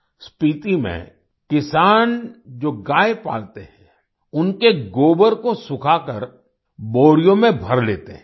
स्पीती में किसान जो गाय पालते हैं उनके गोबर को सुखाकर बोरियों में भर लेते हैं